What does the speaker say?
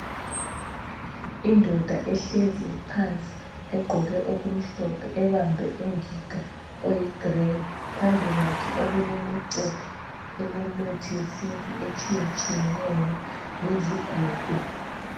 Indoda ehlezi phansi egqoke okumhlophe, ebambe ingiga eyigreyi, phambikwakhe okulemicephe elemithi yesintu etshiyetshiyeneyo lezigodo.